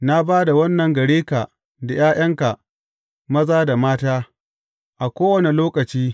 Na ba da wannan gare ka da ’ya’yanka maza da mata, a kowane lokaci.